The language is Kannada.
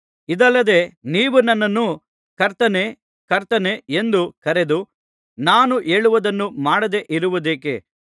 ಇದಲ್ಲದೆ ನೀವು ನನ್ನನ್ನು ಕರ್ತನೇ ಕರ್ತನೇ ಎಂದು ಕರೆದು ನಾನು ಹೇಳುವುದನ್ನು ಮಾಡದೆ ಇರುವುದೇಕೆ